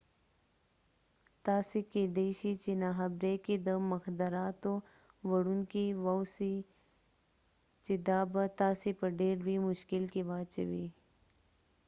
تاسې کیدای شئ په ناخبرۍ کې د مخدراتو وړونکي واوسئ چې دا به تاسې په ډیر لوی مشکل کې واچوي